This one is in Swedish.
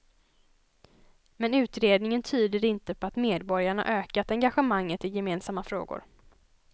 Men utredningen tyder inte på att medborgarna ökat engagemanget i gemensamma frågor.